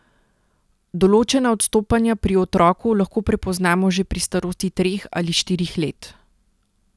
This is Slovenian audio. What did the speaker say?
Določena odstopanja pri otroku lahko prepoznamo že pri starosti treh ali štirih let.